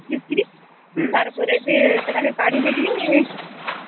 ତାର ପରେ ସେଟାକେ କାଢି ଦେଇ କରିକି